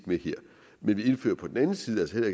ved her men vi indfører på den anden side altså